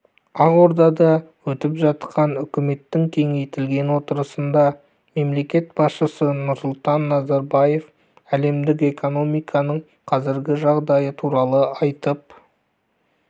ақордада өтіп жатқан үкіметтің кеңейтілген отырысында мемлекет басшысы нұрсұлтан назарбаев әлемдік экономиканың қазіргі жағдайы туралы айтып